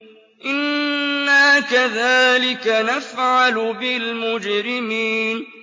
إِنَّا كَذَٰلِكَ نَفْعَلُ بِالْمُجْرِمِينَ